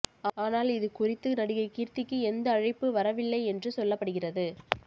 ஆனால் இது குறித்து நடிகை கீர்த்திக்கு எந்த அழைப்புவரவில்லை என்று சொல்லப்படுகிறது